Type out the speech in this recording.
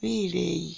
bileyi